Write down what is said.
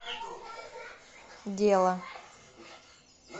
дело